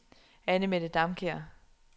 Annemette Damkjær